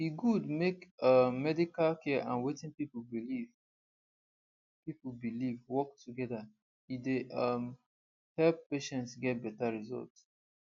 e good make um medical care and wetin people believe people believe work together e dey um help patients get better result